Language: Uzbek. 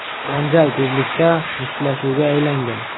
Janjal tezlikda mushtlashuvga aylangan.